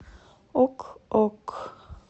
ок ок